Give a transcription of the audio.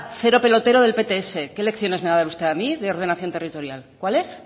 cero pelotero del pts qué lecciones me va a dar usted a mí de ordenación territorial cuáles